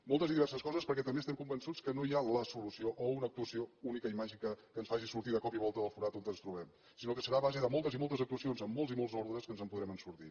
moltes i diverses coses perquè també estem convençuts que no hi ha la solució o una actuació única i màgica que ens faci sortir de cop i volta del forat on ens trobem sinó que serà a base de moltes i moltes actuacions en molts i molts ordres que ens en podrem sortir